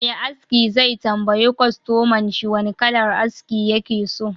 Me aski zai tambayi kwastomanshi wane kalar aski yake so